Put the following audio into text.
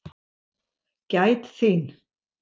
Gæt þín.